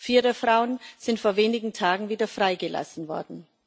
Vier der Frauen sind vor wenigen Tagen wieder freigelassen worden.